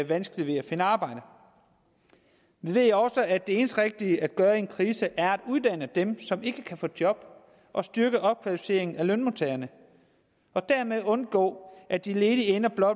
vanskeligt ved at finde arbejde nu ved jeg også at det eneste rigtige at gøre i en krise er at uddanne dem som ikke kan få job og styrke opkvalificeringen af lønmodtagerne og dermed undgå at de ledige ender